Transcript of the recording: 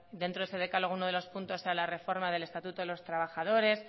dentro de ese decálogo uno de los puntos sea la reforma del estatuto de los trabajadores